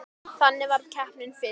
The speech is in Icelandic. Þannig varð keppnin fyrst til.